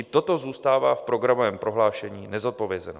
I toto zůstává v programovém prohlášení nezodpovězeno.